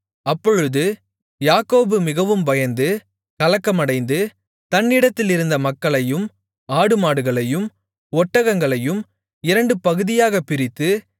அப்பொழுது யாக்கோபு மிகவும் பயந்து கலக்கமடைந்து தன்னிடத்திலிருந்த மக்களையும் ஆடுமாடுகளையும் ஒட்டகங்களையும் இரண்டு பகுதியாகப் பிரித்து